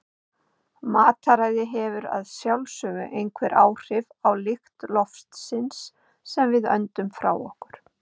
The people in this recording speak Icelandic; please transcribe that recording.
Mataræði hefur að sjálfsögðu einhver áhrif á lykt loftsins sem við öndum frá okkur.